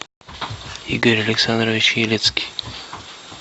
игорь александрович елецкий